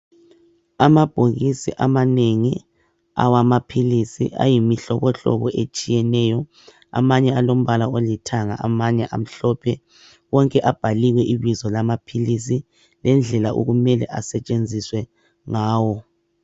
Amabhokisi amanengi awamaphilisi ayimihlobohlobo etshiyeneyo, amanye alombala olithanga amanye amhlophe wonke abhaliwe ibizo lamaphilisi lendlela okumele asetshenziswe ngawo.